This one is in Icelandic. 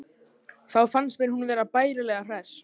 Þá fannst mér hún vera bærilega hress.